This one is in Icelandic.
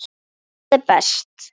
Það er best.